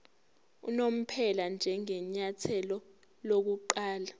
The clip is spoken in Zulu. unomphela njengenyathelo lokuqala